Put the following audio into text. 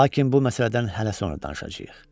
Lakin bu məsələdən hələ sonra danışacağıq.